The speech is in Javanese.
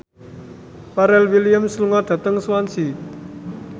Pharrell Williams lunga dhateng Swansea